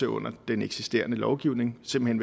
under den eksisterende lovgivning simpelt